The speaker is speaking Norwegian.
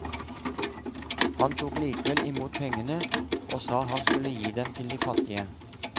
Han tok likevel imot pengene og sa han skulle gi dem til de fattige.